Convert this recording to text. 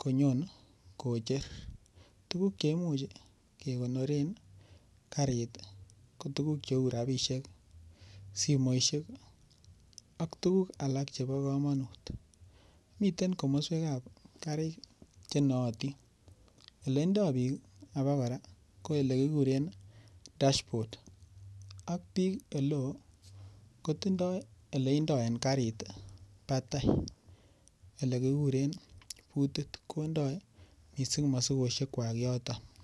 konyon kocher. Tuguk cheimuch kekonoren karit ii ko tuguk cheu rabisiek, simoisiek ak tuguk alak chebo komonut. Miten komoswekab karit chenootin, ilendo biik obokora koelekikuren dashboard ak biik oleo kotindo leindo en karit batai ilekikuren butit indo missing' mosikosiekwak yoton.